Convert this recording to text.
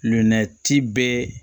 Nɛ ti bɛ